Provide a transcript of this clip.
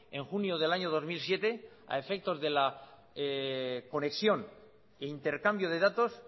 en junio del año dos mil siete a efectos de la conexión e intercambio de datos